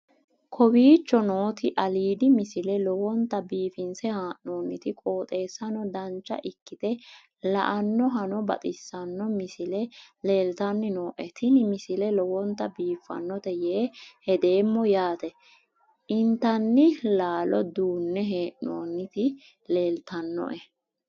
kowicho nooti aliidi misile lowonta biifinse haa'noonniti qooxeessano dancha ikkite la'annohano baxissanno misile leeltanni nooe ini misile lowonta biifffinnote yee hedeemmo yaate intanni laalo duunne hee'noonniti leeltannoe